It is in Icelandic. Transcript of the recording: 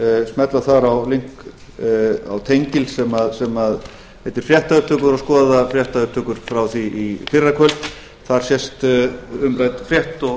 smella þar á tengil sem heitir fréttaupptökur og skoða fréttaupptökur frá því í fyrrakvöld þar sést umrædd frétt